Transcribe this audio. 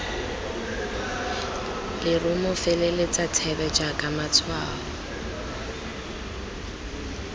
lerumo feleletsa thebe jaaka matshwao